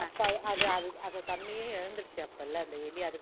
அது அது தன்னையே இழந்துடுச்சு அப்போல அந்த எலி அதுக்கு தெரியல